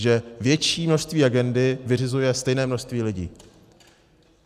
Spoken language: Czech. Že větší množství agendy vyřizuje stejné množství lidí.